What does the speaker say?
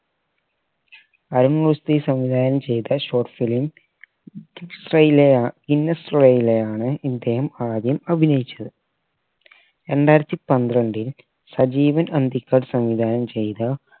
അരുൺ റുഷ്ദി സംവിധാനം ചെയ്ത short film ഗ്രിസയിലാ ഇദ്ദേഹം ആദ്യം അഭിനയിച്ചത് രണ്ടായിരത്തി പത്രണ്ടിൽ സജീവൻ അന്തിക്കാട് സംവിധാനം ചെയ്ത